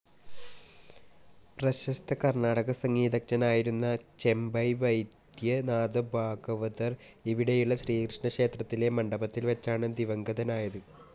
പ്രശസ്ത കർണാടക സംഗീതജ്ഞനായിരുന്ന ചെമ്പൈ വൈദ്യനാഥഭാഗവതർ ഇവിടെയുള്ള ശ്രീകൃഷ്ണ ക്ഷേത്രത്തിലെ മണ്ഡപത്തിൽ വെച്ചാണ് ദിവംഗതനായത്.